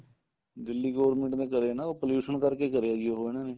Delhi government ਨੇ ਕਰਿਆ ਨਾ pollution ਕਰਕੇ ਕਰਿਆ ਜੀ ਉਹ ਇਹਨਾ ਨੇ